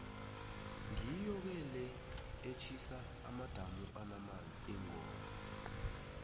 ngiyo ke le etjhisa amadamu anamanzi ingoma